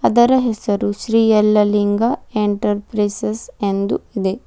ಅದರ ಹೆಸರು ಶ್ರೀ ಯಲ್ಲಲಿಂಗ ಎಂಟ್ರಪ್ರೈಸೆಸ್ ಎಂದು ಇದೆ.